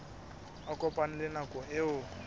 a kopane le nako eo